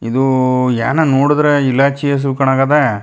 ಇದು ಏನೋ ನೋಡುದ್ರೆ ಇಲಾಚಿ ಹಸು ಕಾಣಗದೆ.